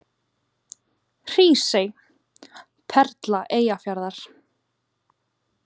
Hrísey: Perla Eyjafjarðar.